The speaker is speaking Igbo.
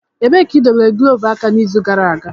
Ebee ka idobere glọvu aka n'izu gara aga?